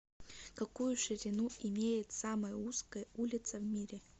какую ширину имеет самая узкая улица в мире